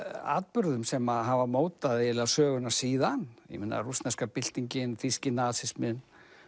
atburðum sem hafa mótað eiginlega söguna síðan ég meina rússneska þýski nasisminn